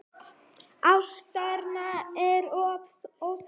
Ástæðan er oftast óþekkt.